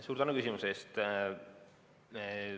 Suur tänu küsimuse eest!